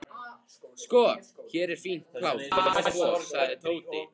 Sko, hér er fínt pláss fyrir tvo sagði Tóti.